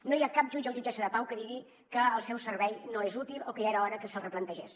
no hi ha cap jutge o jutgessa de pau que digui que el seu servei no és útil o que ja era hora que es replantegés